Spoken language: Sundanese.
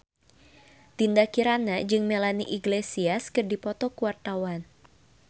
Dinda Kirana jeung Melanie Iglesias keur dipoto ku wartawan